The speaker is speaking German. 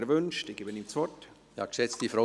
– Er wünscht es, ich gebe ihm das Wort.